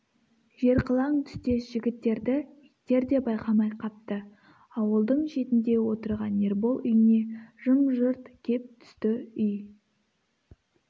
жерқылаң түстес жігіттерді иттер де байқамай қапты ауылдың шетінде отырған ербол үйіне жым-жырт кеп түсті үй